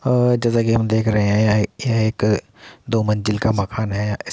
आ जैसा की हम देख रहें है यह एक दो मंजिल का मकान है --